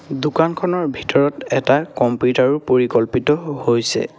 দোকানখনৰ ভিতৰত এটা কম্পিউটাৰ ও পৰিকল্পিত হৈছে।